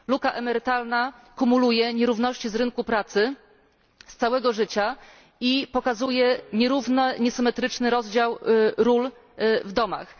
Luka emerytalna kumuluje nierówności z rynku pracy z całego życia i pokazuje nierówny, niesymetryczny podział ról w domach.